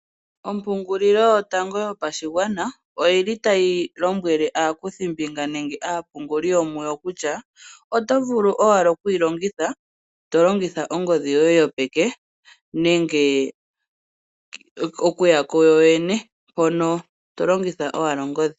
Ompungulilo yotango yopashigwana oyi li tayi lombwele aakuthimbinga nenge aapunguli yo muyo kutya oto vulu owala kuyi longitha to longitha ongodhi yoye yopeke nenge okuya kuyoyene mpono to longitha owala ongodhi.